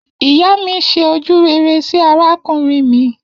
Iya mi se ojurere si arakunrin mi